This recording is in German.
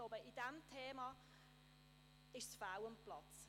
Bei diesem Thema ist es fehl am Platz.